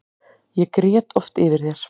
Ég grét oft yfir þér.